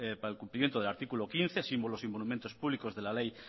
para el cumplimiento del artículo quince símbolos y monumentos públicos de la ley